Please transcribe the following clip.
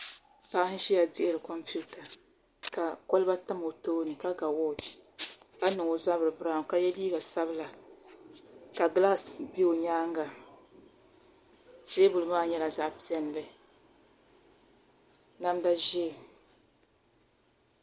Paɣa n ʒiya dihiri kompiuta ka kolba tam o tooni ka ga wooch ka niŋ o zabiri biraawn ka yɛ liiga sabila ka gilaas bɛ o nyaanga teebuli maa nyɛla zaɣ piɛlli namda ʒiɛ